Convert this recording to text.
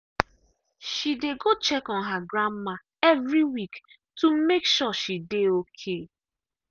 she dey go check on her grandma every week to make sure she dey okay.